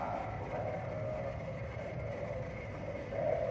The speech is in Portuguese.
Ah, filho, não vai não, não vai não, filho. Mas é